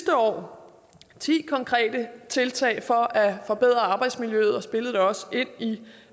år ti konkrete tiltag for at forbedre arbejdsmiljøet og spillede det også ind i